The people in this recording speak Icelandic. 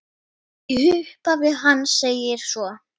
Í upphafi hans segir svo